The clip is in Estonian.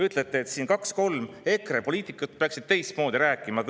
Ütlete, et siin kaks-kolm EKRE poliitikut peaksid teistmoodi rääkima.